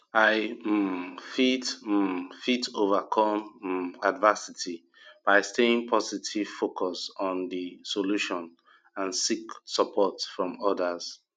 i um fit um fit overcome um adversity by staying positive focus on di solution and seek support from odas